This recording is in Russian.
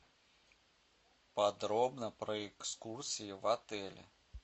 подробно про экскурсии в отеле